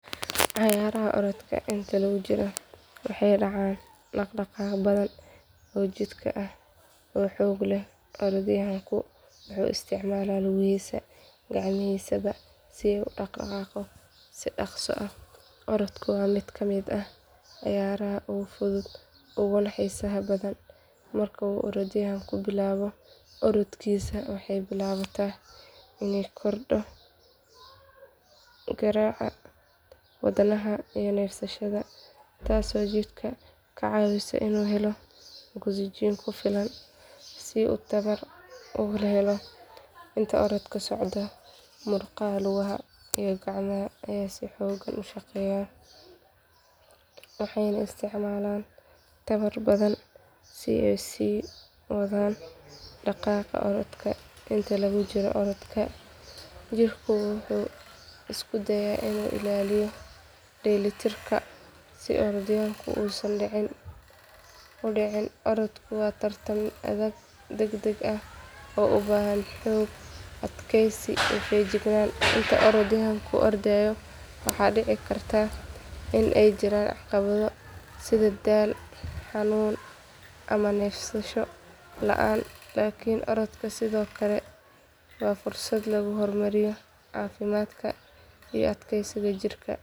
Ciyaaraha orodka inta lagu jiro waxaa dhacaan dhaq-dhaqaaqyo badan oo jirka ah oo xoog ah. Orodyahanka wuxuu isticmaalaa lugihiisa iyo gacmihiisa si uu u dhaq-dhaqaajiy si dhaqsa aah Orodku waa mid ka mid ah ciyaaraha ugu fudud oo gana xiisaha badan. Marka uu orodyahanku bilaabo orodkiisa, waxaa bilaama in uu kordho garaaca wadnaha iyo neefsashada, taas oo jirka ka caawiso in muruqyada uu helo ogsajiin ku filan si tamar u helo. Inta uu orodku socdo, muruqyada lugaha iyo gacmaha ayaa si xoog ah u shaqeeya, waxayna isticmaalaan tamar badan si ay u sii wadaan dhaq-dhaqaaqa orodka. Inta lagu jiro orodka, jirku wuxuu isku dayaa in uu ilaaliyo dheelitirka si uu orodyahanku uusan u dhicin. Orodku waa tartan adag, degdeg ah oo na u baahan xoog, adkaysi, iyo feejignaan. Marka orodyahanku ordayo, waxaa dhici kara in jiraan caqabado sida daal, xanuun, ama neefsasho la’aan. Laakiin orodka sidoo kale waa fursad lagu horumariyo caafimaadka iyo adkaysiga jirka.